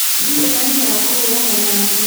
Ndirĩ na hinya wa kũhũrana na andũ